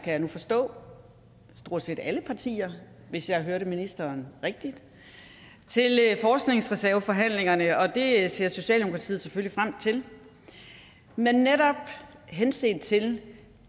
jeg nu forstå stort set alle partier hvis jeg hørte ministeren rigtigt til forskningsreserveforhandlingerne og det ser socialdemokratiet selvfølgelig frem til men netop henset til